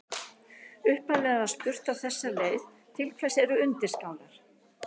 Upphaflega var spurt á þessa leið: Til hvers eru undirskálar?